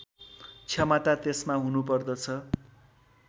क्षमता त्यसमा हुनुपर्दछ